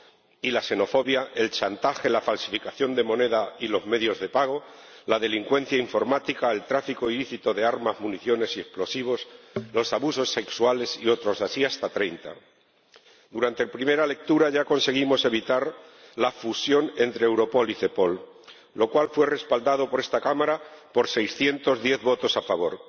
y la xenofobia, el chantaje, la falsificación de moneda y los medios de pago, la delincuencia informática, el tráfico ilícito de armas, municiones y explosivos, los abusos sexuales y otros, así hasta treinta. Durante la primera lectura ya conseguimos evitar la fusión entre Europol y Cepol, lo cual fue respaldado por esta Cámara por 610 votos a favor.